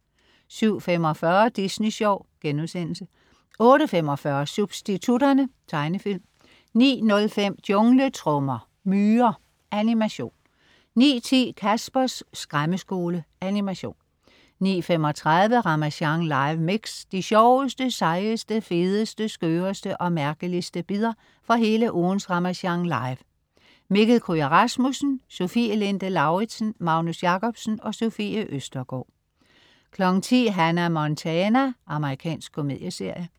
07.45 Disney Sjov* 08.45 Substitutterne. Tegnefilm 09.05 Jungletrommer. Myrer. Animation 09.10 Caspers Skræmmeskole. Animation 09:35 Ramasjang live mix. De sjoveste, sejeste, fedeste, skøreste og mærkeligste bidder fra hele ugens Ramasjang Live. Mikkel Kryger Rasmussen, Sofie Linde Lauridsen, Magnus Jacobsen, Sofie Østergaard 10.00 Hannah Montana. Amerikansk komedieserie